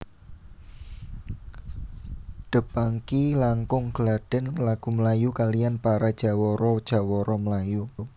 The Pangky langkung gladhen lagu melayu kaliyan para jawara jawara melayu